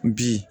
Bi